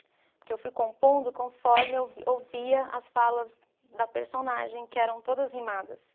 Porque eu fui compondo conforme eu ouvia as falas da personagem, que eram todas rimadas.